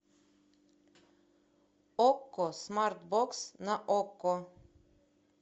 окко смарт бокс на окко